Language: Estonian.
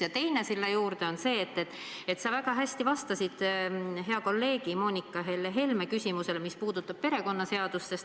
Ja teine sinna juurde on see, et sa väga hästi vastasid hea kolleegi Helle-Moonika Helme küsimusele, mis puudutas perekonnaseadust.